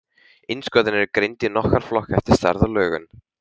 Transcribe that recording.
Innskotin eru greind í nokkra flokka eftir stærð og lögun.